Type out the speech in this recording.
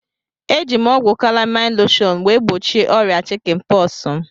Eji m ọgwụ kalamain loshọn wee gbochie ọrịa chikin pọksi m